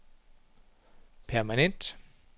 permanent